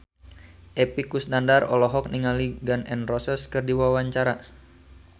Epy Kusnandar olohok ningali Gun N Roses keur diwawancara